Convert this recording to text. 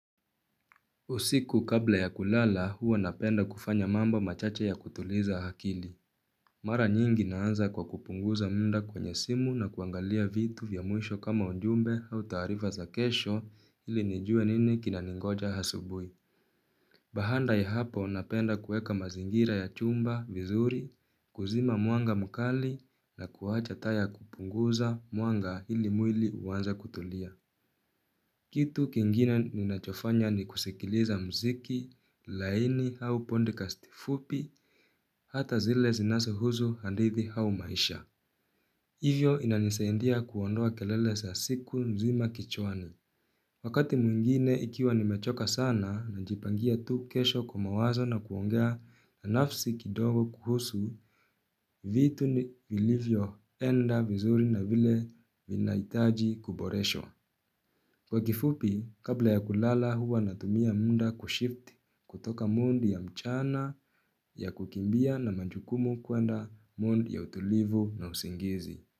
Usiku kabla ya kulala huwa napenda kufanya mambo machache ya kutuliza hakili. Mara nyingi naanza kwa kupunguza munda kwenye simu na kuangalia vitu vya muisho kama unjumbe au taarifa za kesho ili nijue nini kinaningoja hasubui. Bahanda ya hapo napenda kueka mazingira ya chumba, vizuri, kuzima mwanga mukali na kuacha taa ya kupunguza mwanga ili muili uanze kutulia. Kitu kingine ninachofanya ni kusikiliza mziki, laini hau pondikasti fupi, hata zile zinasohuzu handithi hau maisha. Hivyo inanisaendia kuondoa kelele sa siku mzima kichwani. Wakati mwingine ikiwa nimechoka sana, najipangia tu kesho kwa mawazo na kuongea na nafsi kidogo kuhusu vitu ni vilivyoenda vizuri na vile vinaitaji kuboreshwa. Kwa kifupi, kabla ya kulala huwa natumia munda kushift kutoka mondi ya mchana ya kukimbia na manjukumu kwenda mondi ya utulivu na usingizi.